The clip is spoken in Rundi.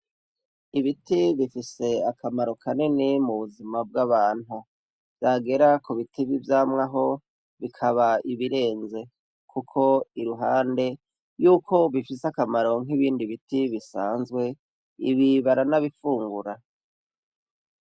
Ibiti bifise akamaro kanini mu buzima bw'abantu. Vyagera ku biti vy'ivyamwa ho bikaba ibirenze, kuko iruhande y'uko bifise akamaro nk'ibindi biti bisanzwe, ibi baranabifungura.